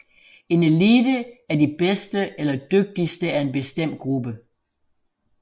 En elite er de bedste eller dygtigste af en bestemt gruppe